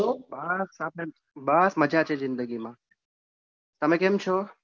બસ બસ મજા છે જિંદગી માં તમે કેમ છો?